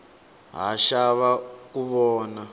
ha xava ku vona